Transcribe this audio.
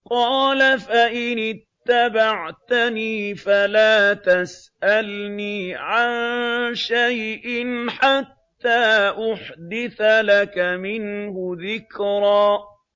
قَالَ فَإِنِ اتَّبَعْتَنِي فَلَا تَسْأَلْنِي عَن شَيْءٍ حَتَّىٰ أُحْدِثَ لَكَ مِنْهُ ذِكْرًا